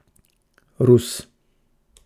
Rus?